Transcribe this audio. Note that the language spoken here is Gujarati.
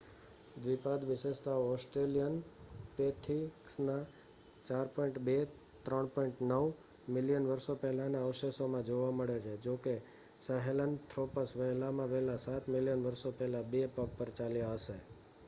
દ્વિપાદ વિશેષતાઓ ઑસ્ટ્રેલિયોપીથેકસના 4.2-3.9 મિલિયન વર્ષો પહેલાના અવશેષોમાં જોવા મળે છે જોકે સાહેલનથ્રોપસ વહેલામાં વહેલા સાત મિલિયન વર્ષો પહેલા બે પગ પર ચાલ્યા હશે